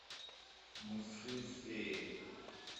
мультфильм феи